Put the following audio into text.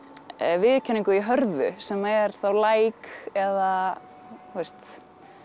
viðurkenningu í hörðu sem er þá like eða þú veist